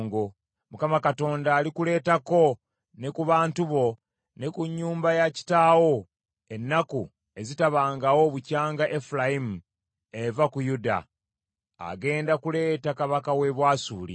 Mukama Katonda alikuleetako ne ku bantu bo ne ku nnyumba ya kitaawo ennaku ezitabangawo bukyanga Efulayimu eva ku Yuda; agenda kuleeta kabaka w’e Bwasuli.”